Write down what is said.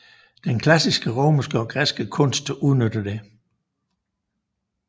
Den klassiske romerske og græske kunst udnytter det